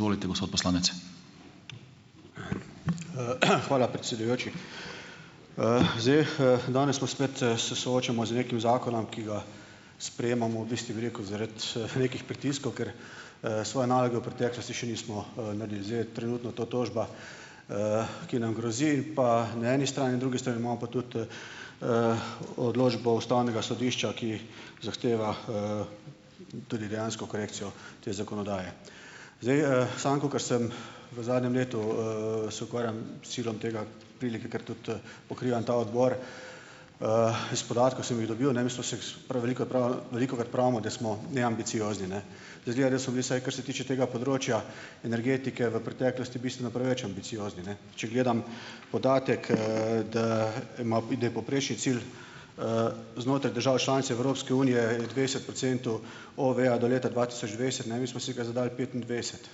hvala predsedujoči. zdaj, danes smo spet, se soočamo z nekim zakonom, ki ga sprejemamo, v bistvu bi rekel, zaradi, nekih pritiskov, ker, svoje naloge v preteklosti še nismo, naredili. Zdaj je trenutno to tožba, ki nam grozi, pa na eni strani, na drugi imamo pa tudi, odločbo ustavnega sodišča, ki zahteva, tudi dejansko korekcijo te zakonodaje. Zdaj, sam kakor sem v zadnjem letu, se ukvarjam silom tega delike, ker tudi pokrivam ta odbor, iz podatkov, sem jih dobil, ne, mi smo se prav veliko veliko pripravimo, da smo neambiciozni, ne. Izgleda, da so bili, vsaj kar se tiče tega področja energetike v preteklosti, bistveno preveč ambiciozni, ne. Če gledam podatek, da ima da je povprečni cilj, znotraj države članice Evropske unije dvajset procentov, OVE-ja do leta dva tisoč dvajset, ne, mi smo si ga zadali petindvajset.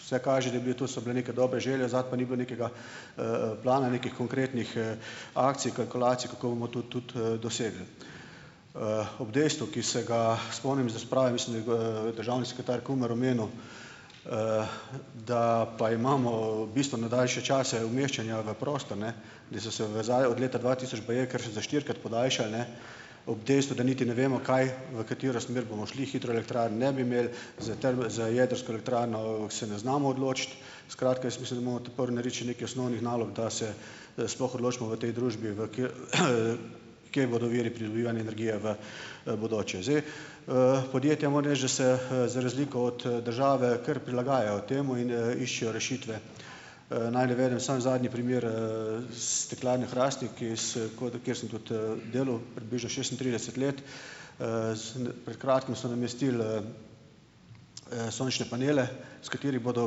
Vse kaže, da je bil, to so bile neke dobre želje, zato pa ni bilo nekega plana, nekih konkretnih, akcij, kalkulacij, kako bomo to tudi, dosegli. ob dejstvu, ki se ga spomnim iz razprave, mislim, da državni sekretar Kumer omenil, da pa imamo bistveno daljše čase umeščanja v prostor, ne, da so se vezave od leta dva tisoč baje kar že za štirikrat podaljšale, ne, ob dejstvu, da niti ne vemo kaj, v katero smer bomo šli. Hidroelektrarn ne bi imeli, za za jedrsko elektrarno, se ne znamo odločiti. Skratka, jaz mislim, da imamo ta prvo narediti še nekaj osnovnih nalog, da se, sploh odločimo v tej družbi v kje bodo viri pridobivanja energije v, bodoče. Zdaj. podjetja, moram reči, da se za razliko od, države kar prilagajajo temu in, iščejo rešitve. naj navedem samo zadnji primer, Steklarne Hrastnik, ki kjer sem, tudi delal, približno šestintrideset let. pred kratkim so namestili, sončne panele, s katerimi bodo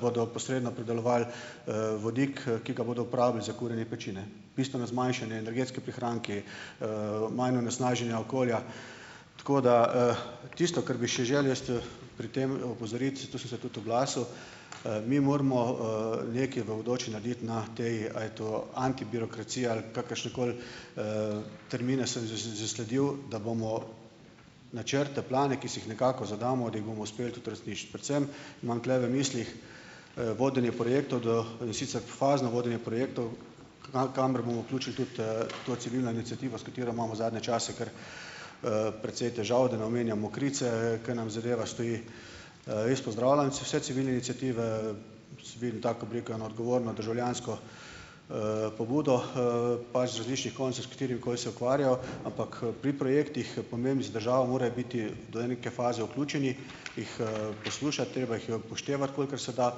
bodo posredno pridelovali vodik, ki ga bodo uporabili za kurjenje peči, ne. Bistveno zmanjšanje, energetski prihranki, manj onesnaženja okolja. Tako, da, tisto, kar bi še želel jaz, pri tem, opozoriti, to sem se tudi oglasil. mi moramo, nekaj v bodoči narediti na tej, a je to antibirokracija ali kakršenkoli, termine sem zasledil, da bomo načrte, plane, ki si jih nekako zadamo, da jih bomo uspeli tudi uresničiti. Predvsem imam tule v mislih, vodenje projektov do, in sicer fazno vodenje projektov, kamor bomo vključili tudi, to civilno iniciativo, s katero imamo zadnje čase kar, precej težav, da ne omenjamo Mokrice, ke nam zadeva stoji. jaz pozdravljam vse civilne iniciative, taka oblika ena odgovorna državljansko, pobudo, pač z različnih koncev, s katerimikoli se ukvarjajo, ampak, pri projektih, pomembnih za državo, more biti do neke faze vključeni, jih, poslušati , treba jih je upoštevati, kolikor se da,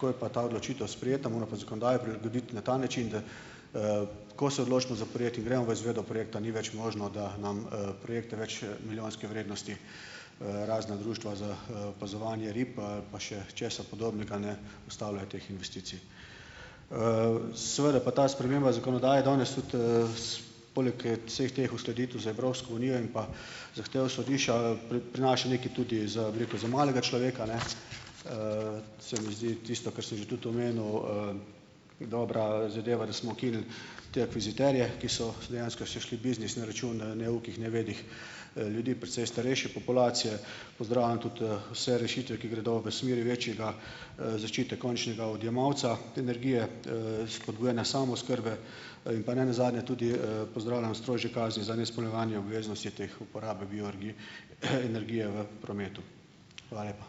ko je pa ta odločitev sprejeta, mora pa zakonodaja prilagoditi na ta način, da, ko se odločimo za projekt, gremo v izvedbo projekta, ni več možno, da nam, projekt več, milijonske vrednosti, razna društva za, opazovanje rib ali pa še česa podobnega, ne, ustavljajo teh investicij. seveda pa ta sprememba zakonodaje danes tudi, poleg, vseh teh uskladitev z Evropsko unijo pa zahtev sodišča, prinaša nekaj tudi za, bi rekel, za malega človeka, ne. se mi zdi , tisto, kar sem že tudi omenil, dobra, zadeva, da smo ukinili te akviziterje, ki so dejansko se šli biznis na račun, neukih, nevednih ljudi, precej starejše populacije. Pozdravljam tudi, vse rešitve, ki gredo v smeri večjega, zaščite končnega odjemalca energije, spodbujana samooskrbe. in pa nenazadnje tudi, pozdravljam strožje kazni za neizpolnjevanje obveznosti, teh uporabe energije v prometu. Hvala lepa.